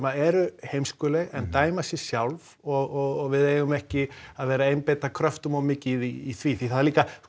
eru heimskuleg en dæma sig sjálf og við eigum ekki að vera að einbeita kröftum of mikið í því því það er líka